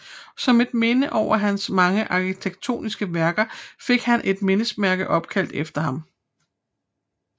Som et minde over hans mange arkitektoniske værker fik han et mindesmærke opkaldt efter ham